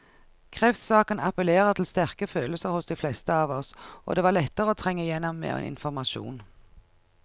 Kreftsaken appellerer til sterke følelser hos de fleste av oss, og det var lettere å trenge igjennom med informasjon.